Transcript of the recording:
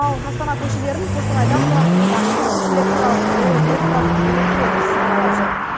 ал астана көшелерін қостанайда құрастырылған тұңғыш электробус аралап жүр